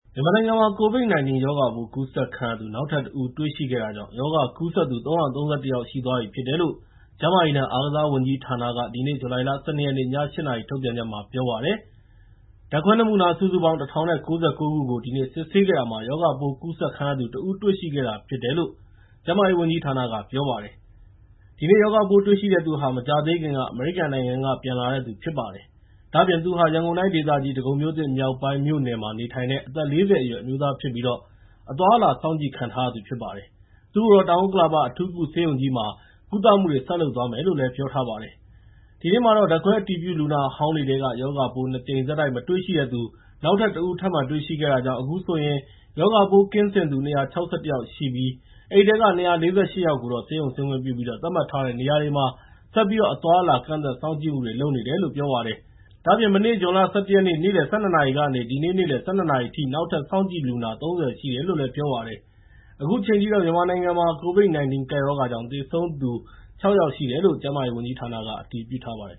မြန်မာနိုင်ငံမှာ COVID-19 ရောဂါပိုး ကူးစက်ခံရသူ နောက်ထပ် ၁ ဦး တွေ့ရှိခဲ့တာကြောင့် ရောဂါကူးစက်သူ ၃၃၁ ယောက် ရှိသွားပြီဖြစ်တယ်လို့ ကျန်းမာရေးနဲ့ အားကစားဝန်ကြီးဌာနက ဒီနေ့ ဇူလိုင် ၁၂ ရက်နေ့ ည ၈ နာရီ ထုတ်ပြန်ချက်မှာ ပြောပါတယ်။ ဓာတ်ခွဲနမူနာ စုစုပေါင်း ၁,၀၉၉ ခုကို ဒီနေ့ စစ်ဆေးခဲ့တာမှာ ရောဂါပိုး ကူးစက်ခံရသူ ၁ ဦး တွေ့ရှိခဲ့တာဖြစ်တယ်လို့ ကျန်းမာရေးဝန်ကြီးဌာနက ပြောပါတယ်။ ဒီနေ့ ရောဂါပိုးတွေ့ရှိသူဟာ မကြာသေးခင်က အမေရိကန်နိုင်ငံက ပြန်လာတဲ့သူ ဖြစ်ပါတယ်။ ဒါ့အပြင် ရန်ကုန်တိုင်းဒေသကြီး ဒဂုံမြို့သစ်မြောက်ပိုင်း မြို့နယ်မှာ နေထိုင်တဲ့ အသက် ၄၀ အရွယ် အမျိုးသားဖြစ်ပြီး အသွားအလာ စောင့်ကြည့်ခံထားရသူ ဖြစ်ပါတယ်။ သူ့ကိုတော့ တောင်ဥက္ကလာပ အထူးကုဆေးရုံကြီးမှာ ကုသမှုတွေ ဆက်လုပ်သွားမယ်လို့လည်း ပြောထားပါတယ်။ ဒီနေ့မှာတော့ ဓာတ်ခွဲအတည်ပြုလူနာဟောင်းတွေထဲက ရောဂါပိုး ၂ ကြိမ်ဆက်တိုက် မတွေ့ရှိတဲ့သူ နောက်ထပ် ၁ ဦး ထပ်မံတွေ့ရှိခဲ့တာကြောင့် အခုဆိုရင် ရောဂါပိုးကင်းစင်သူ ၂၆၁ ယောက်ရှိပြီး အဲဒီထဲက ၂၄၈ ယောက်ကိုတော့ ဆေးရုံဆင်းခွင့်ပြုပြီး သတ်မှတ်ထားတဲ့ နေရာတွေမှာ ဆက်ပြီးတော့ အသွားအလာ ကန့်သတ်စောင့်ကြည့်မှုတွေ လုပ်နေတယ်လို့ ပြောပါတယ်။ ဒါ့အပြင် မနေ့ ဇွန်လ ၁၁ ရက် နေ့လယ် ၁၂ နာရီကနေ ဒီနေ့ နေ့လယ် ၁၂ နာရီအထိ နောက်ထပ် စောင့်ကြည့်လူနာ ၃၀ ရှိတယ်လို့လည်း ပြောပါတယ်။ အခုချိန်ထိတော့ မြန်မာနိုင်ငံမှာ COVID-19 ကပ်ရောဂါကြောင့် သေဆုံးသူ ၆ ယောက်ရှိတယ်လို့ ကျန်းမာရေးဝန်ကြီးဌာနက အတည်ပြုထားပါတယ်